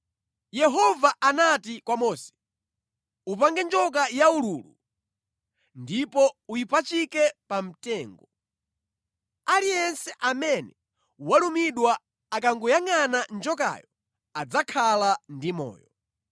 Yehova anati kwa Mose, “Upange njoka yaululu ndipo uyipachike pa mtengo. Aliyense amene walumidwa akangoyangʼana njokayo adzakhala ndi moyo.”